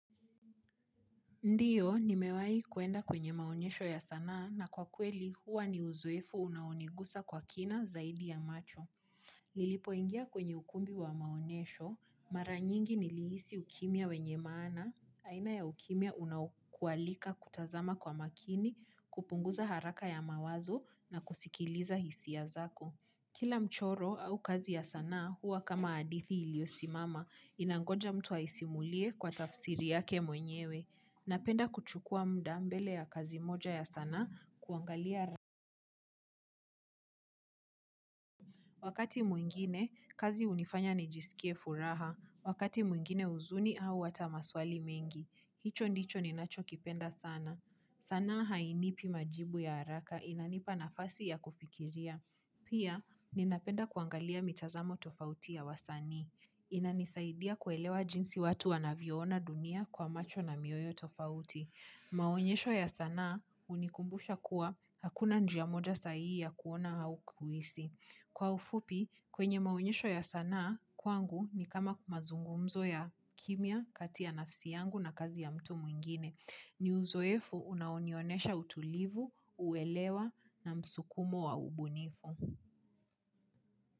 Ndiyo, nimewahi kuenda kwenye maonyesho ya sanaa na kwa kweli huwa ni uzoefu unaoniguza kwa kina zaidi ya macho. Nilipoingia kwenye ukumbi wa maonyesho, mara nyingi nilihisi ukimya wenye maana, aina ya ukimya unakualika kutazama kwa makini, kupunguza haraka ya mawazo na kusikiliza hisia zako. Kila mchoro au kazi ya sanaa huwa kama hadithi iliyo simama inangoja mtu aisimulie kwa tafsiri yake mwenyewe. Napenda kuchukua muda mbele ya kazi moja ya sanaa kuangalia. Wakati mwingine, kazi hunifanya nijisikie furaha. Wakati mwingine huzuni au hata maswali mengi. Hicho ndicho ninacho kipenda sana. Sanaa hainipi majibu ya haraka inanipa nafasi ya kufikiria. Pia, ninapenda kuangalia mitazamo tofauti ya wasani. Inanisaidia kuelewa jinsi watu wanavyoona dunia kwa macho na mioyo tofauti. Maonyesho ya sanaa hunikumbusha kuwa hakuna njia moja sahihi ya kuona au kuhisi. Kwa ufupi, kwenye maonyesho ya sanaa kwangu ni kama mazungumzo ya kimya kati ya nafsi yangu na kazi ya mtu mwingine. Ni uzoefu unaonionesha utulivu, uelewa na msukumo wa ubunifu.